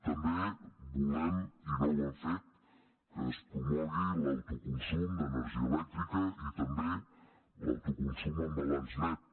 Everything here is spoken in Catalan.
també volem i no ho han fet que es promogui l’autoconsum d’energia elèctrica i també l’autoconsum en balanç net